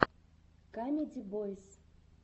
камеди бойс